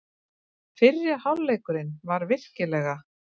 Fyrri hálfleikurinn var virkilega.